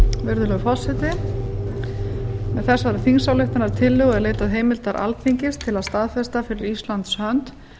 virðulegur forseti með þessari þingsályktunartillögur er leitað heimildar alþingis til að staðfesta fyrir íslands hönd